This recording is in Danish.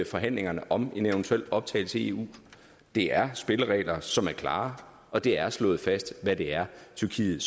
forhandlingerne om en eventuel optagelse i eu det er spilleregler som er klare og det er slået fast hvad det er tyrkiet